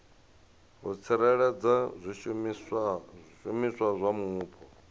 u tsireledza zwishumiswa zwa mupo